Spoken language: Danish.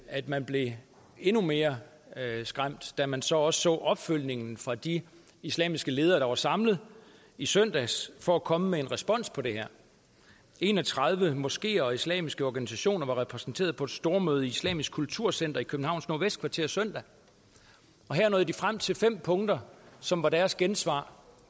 at man blev endnu mere skræmt da man så også så opfølgningen fra de islamiske ledere der var samlet i søndags for at komme med en respons på det her en og tredive moskeer og islamiske organisationer var repræsenteret på et stormøde i islamisk kulturcenter i københavns nordvestkvarter søndag her nåede de frem til fem punkter som var deres gensvar